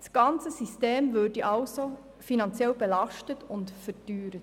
Das ganze System würde somit finanziell belastet und verteuert.